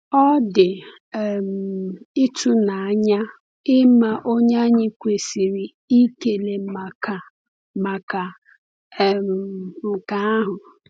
Ọ dị um ịtụnanya ịma onye anyị kwesịrị ịkele maka maka um nke ahụ.